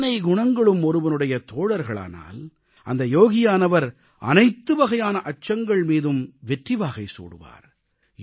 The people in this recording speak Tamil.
இத்தனை குணங்களும் ஒருவனுடைய தோழர்களானால் அந்த யோகியானவர் அனைத்துவகையான அச்சங்கள் மீதும் வெற்றிவாகை சூடுகிறார்